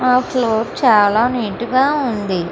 ఆ ఫ్లోర్ చాలా నీట్ గ ఉంది.